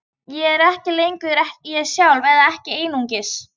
Ég er ekki lengur ég sjálfur, eða ekki einungis.